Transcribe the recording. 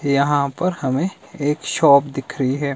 यहां पर हमें एक शॉप दिख रही है।